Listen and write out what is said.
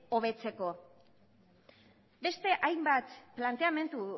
hobetzeko beste hainbat planteamendu